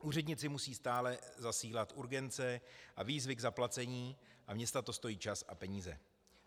Úředníci musí stále zasílat urgence a výzvy k zaplacení a města to stojí čas a peníze.